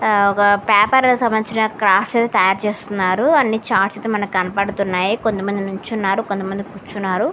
ఆ ఒక పేపర్ సంబంధించిన క్రాఫ్ట్స్ అవి తయారు చేస్తున్నారు అన్ని చార్ట్స్ అయితే మనకు కనబడుతున్నాయి కొంతమంది నుంచున్నారు కొంతమంది కూర్చున్నారు.